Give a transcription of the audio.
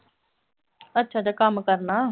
ਅੱਛਾ-ਅੱਛਾ ਕੰਮ ਕਰਨਾ।